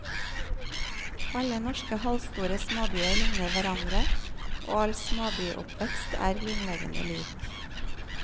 Alle norske halvstore småbyer likner hverandre og all småbyoppvekst er grunnleggende lik.